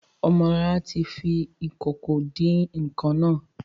Ọmọlará ti fọ ìkòkò ìdín-nǹkan naa